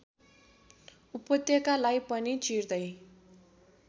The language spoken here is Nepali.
उपत्यकालाई पनि चिर्दै